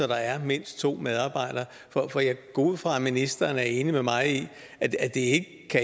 der er mindst to medarbejdere for jeg går ud fra at ministeren er enig med mig i at det